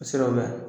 O siraw bɛ yan